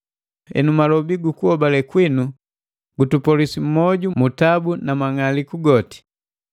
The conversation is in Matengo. Henu malobi gi lijambu lu kuhobale kwinu gutupolwisi moju mu tabu na mang'aliku goti,